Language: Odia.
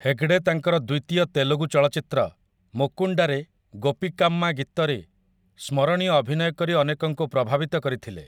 ହେଗଡେ ତାଙ୍କର ଦ୍ୱିତୀୟ ତେଲୁଗୁ ଚଳଚ୍ଚିତ୍ର 'ମୁକୁଣ୍ଡା' ରେ 'ଗୋପିକାମ୍ମା' ଗୀତରେ ସ୍ମରଣୀୟ ଅଭିନୟ କରି ଅନେକଙ୍କୁ ପ୍ରଭାବିତ କରିଥିଲେ ।